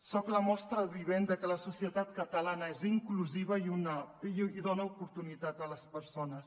soc la mostra vivent de que la societat catalana és inclusiva i dona oportunitat a les persones